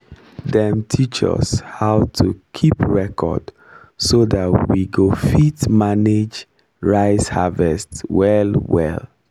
dem teach us how to keep record so that we go fit manage rice harvest well well